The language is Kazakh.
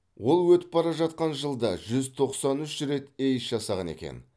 ол өтіп бара жатқан жылда жүз тоқсан үш рет эйс жасаған екен